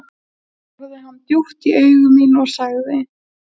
Þá horfði hann djúpt í augu mín og sagði